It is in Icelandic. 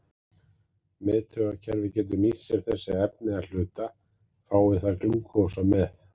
Miðtaugakerfið getur nýtt sér sér þessi efni að hluta, fái það glúkósa með.